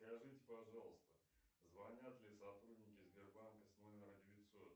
скажите пожалуйста звонят ли сотрудники сбербанка с номера девятьсот